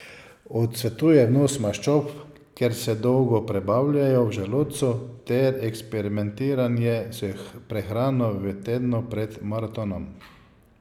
Odsvetuje vnos maščob, ker se dolgo prebavljajo v želodcu ter eksperimentiranje s prehrano v tednu pred maratonom.